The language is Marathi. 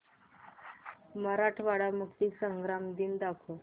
मराठवाडा मुक्तीसंग्राम दिन दाखव